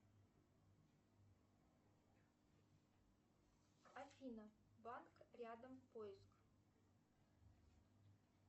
афина банк рядом поиск